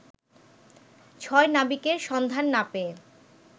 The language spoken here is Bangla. ছয় নাবিকের সন্ধান না পেয়ে